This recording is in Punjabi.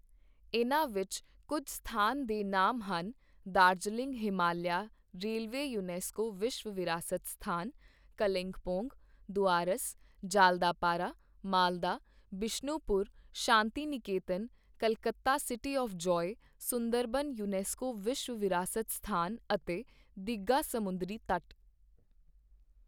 ਇਨ੍ਹਾਂ ਵਿੱਚ ਕੁੱਝ ਸਥਾਨ ਦੇ ਨਾਮ ਹਨ ਦਾਰਜੀਲਿੰਗ ਹਿਮਾਲਿਆ ਰੇਲਵੇ ਯੂਨੈਸਕੋ ਵਿਸ਼ਵ ਵਿਰਾਸਤ ਸਥਾਨ, ਕਲਿੰਪੋਂਗ, ਦੁਆਰਸ, ਜਾਲਦਾਪਾਰਾ, ਮਾਲਦਾ, ਬਿਸ਼ਣੁਪੁਰ, ਸ਼ਾਂਤੀ Niketan, Calcutta city of ਜਾਯ, Sundarban UNESCO ਵਿਸ਼ਵ ਵਿਰਾਸਤ ਸਥਾਨ ਅਤੇ ਦੀਘਾ ਸਮੁੰਦਰੀ ਤਟ।